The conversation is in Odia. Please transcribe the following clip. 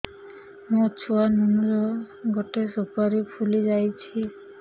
ମୋ ଛୁଆ ନୁନୁ ର ଗଟେ ସୁପାରୀ ଫୁଲି ଯାଇଛି